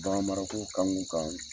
Bagan marako kankun kan